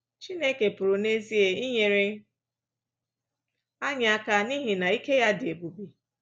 Chineke pụrụ n’ezie inyere anyị aka n’ihi na ike ya dị ebube.